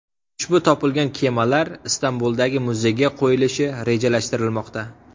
Ushbu topilgan kemalar Istanbuldagi muzeyga qo‘yilishi rejalashtirilmoqda.